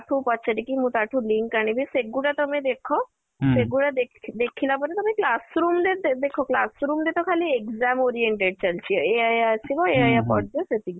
ତା ଠୁ ପଚାରିକି ମୁଁ ତା ଠୁ link ଆଣିବି ସେ ଗୁଡା ତମେ ଦେଖ ସେ ଗୁଡା ତମେ ଦେଖିଲା ପରେ ତମେ classroom ରେ ଦେଖ classroom ରେ ତ ଖାଲି exam oriented ଚାଲିଛି ଏଇଆ ଏଇଆ ଆସିବ ଏଇଆ ଏଇଆ ପଡିବ ସେତିକି